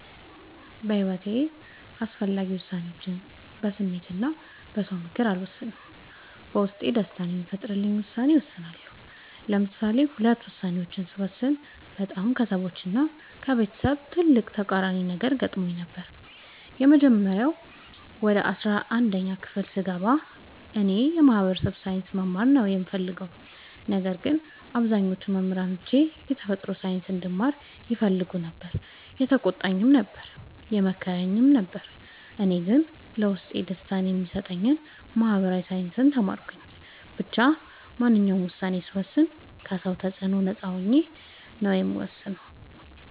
በሒወቴ አስፈላጊ ወሳኔዎችን በስሜት እና በ ሰው ምክር አልወሰንም። በውስጤ ደስታን የሚፈጥርልኝን ውሳኔ እወስናለሁ። ለምሳሌ ሁለት ውሳኔዎችን ስወስን በጣም ከሰዎች እና ከቤተሰብ ትልቅ ተቃራኒ ነገር ገጥሞኝ ነበር። የመጀመሪያው ወደ አስራአንድ ክፍል ስገባ እኔ የ ማህበራዊ ሳይንስ መማር ነው የምፈልገው። ነገር ግን አብዛኞቹ መምህሮቼ የተፈጥሮ ሳይንስ እንድማር ይፈልጉ ነበር የተቆጣኝም ነበር የመከረኝም ነበር እኔ ግን ለውስጤ ደስታን የሚሰጠኝን ማህበራዊ ሳይንስ ተማርኩ። ብቻ ማንኛውንም ውሳኔ ስወስን ከ ሰው ተፅዕኖ ነፃ ሆኜ ነው የምወስነው።